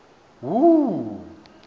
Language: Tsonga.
hu